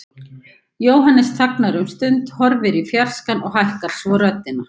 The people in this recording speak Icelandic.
Jóhannes þagnar um stund, horfir í fjarskann og hækkar svo röddina.